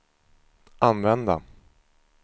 använda